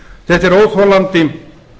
þetta er óþolandi